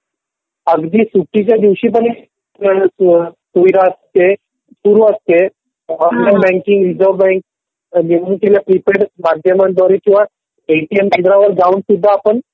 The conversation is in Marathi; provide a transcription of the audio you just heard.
अगदी सुट्टीच्या दिवशी पण ही सुविधा असते. सुरू असते. ऑनलाइन बँकिंग रिझर्व्हबँकिंग माध्यमांद्वारे किंवा. एटीएम केंद्रावर जाऊन सुद्धा आपण